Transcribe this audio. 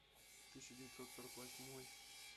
тысяча девятьсот сорок восьмой